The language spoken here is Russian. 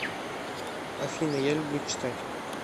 афина я люблю читать